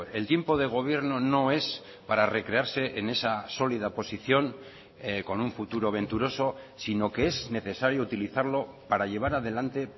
el tiempo de gobierno no es para recrearse en esa sólida posición con un futuro venturoso sino que es necesario utilizarlo para llevar adelante